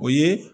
O ye